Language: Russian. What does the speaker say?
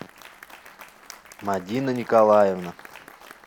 мадина николаевна